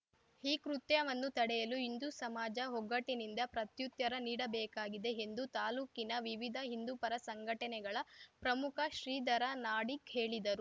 ಈ ಕೃತ್ಯವನ್ನು ತಡೆಯಲು ಹಿಂದೂ ಸಮಾಜ ಒಗ್ಗಟ್ಟಿನಿಂದ ಪ್ರತ್ಯುತ್ತರ ನೀಡಬೇಕಾಗಿದೆ ಎಂದು ತಾಲೂಕಿನ ವಿವಿಧ ಹಿಂದೂ ಪರ ಸಂಘಟನೆಗಳ ಪ್ರಮುಖ ಶ್ರೀಧರ ನಾಡಿಗ್‌ ಹೇಳಿದರು